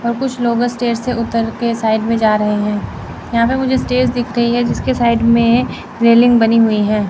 और कुछ लोग अस्टेज से उतर के साइड में जा रहे हैं यहां पे मुझे स्टेज दिख रही है जिसके साइड में रेलिंग बनी हुई है।